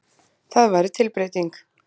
Það væri tilbreyting.